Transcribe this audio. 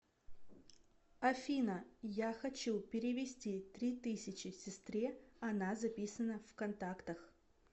афина я хочу перевести три тысячи сестре она записана в контактах